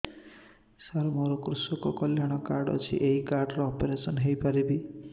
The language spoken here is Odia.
ସାର ମୋର କୃଷକ କଲ୍ୟାଣ କାର୍ଡ ଅଛି ଏହି କାର୍ଡ ରେ ଅପେରସନ ହେଇପାରିବ